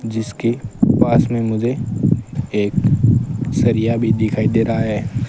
जिसके पास में मुझे एक सरिया भी दिखाई दे रहा है।